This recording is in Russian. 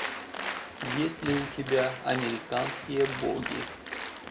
есть ли у тебя американские боги